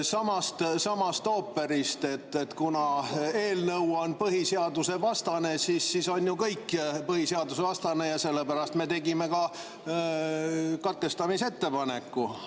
Samast ooperist: kuna eelnõu on põhiseadusevastane, siis on ju kõik põhiseadusevastane ja sellepärast me tegime ka katkestamisettepaneku.